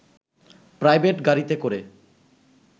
private গাড়িতে করে